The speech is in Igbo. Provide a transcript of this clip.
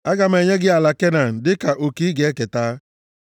“Aga m enye gị ala Kenan dịka oke i ga-eketa.”